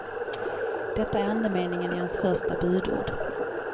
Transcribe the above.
Detta är andemeningen i hans första budord.